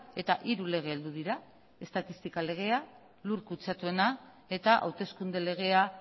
eta hiru lege heldu dira estadistika legea lur kutsatuena eta hauteskunde legea